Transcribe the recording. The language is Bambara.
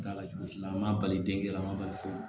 Da la cogo si la an b'a bali den lamɔliso